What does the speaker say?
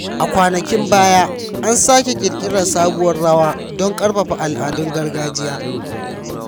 A kwanakin baya, an sake ƙirƙirar sabuwar rawa don ƙarfafa al’adun gargajiya.